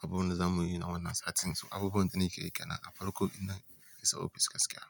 abubuwan da za mu yi na wannan satin. Su abubuwan da nake yike nan farako ina isa ofis gaskiya.